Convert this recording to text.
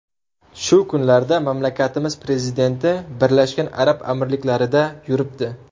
Shu kunlarda mamlakatimiz prezidenti Birlashgan Arab Amirliklarida yuribdi .